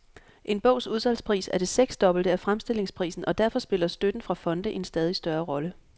En bogs udsalgspris er det seksdobbelte af fremstillingsprisen, og derfor spiller støtten fra fonde en stadig større rolle.